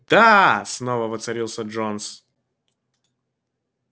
да снова воцарился джонс